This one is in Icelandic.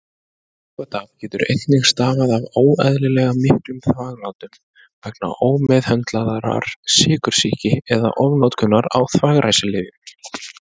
Vökvatap getur einnig stafað af óeðlilega miklum þvaglátum vegna ómeðhöndlaðrar sykursýki eða ofnotkunar á þvagræsilyfjum.